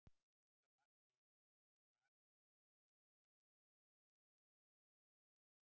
Kom þar margt til, einkum þó van- stilling skapsmuna, vanþekking, hroki og dómgreindarleysi.